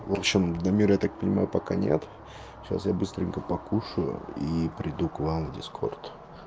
вообщем дамира я так понимаю пока нет сейчас я быстренько покушаю и приду к вам в дискорд